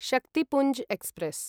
Shaktipunj express